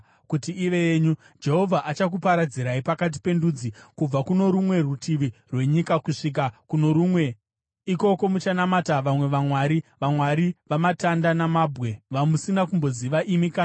Jehovha achakuparadzirai pakati pendudzi, kubva kuno rumwe rutivi rwenyika kusvika kuno rumwe. Ikoko muchanamata vamwe vamwari, vamwari vamatanda namabwe, vamusina kumboziva imi kana madzibaba enyu.